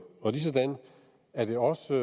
og ligesådan er det også